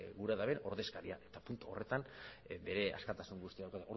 gura duten ordezkaria eta puntu horretan bere askatasun guztia dauka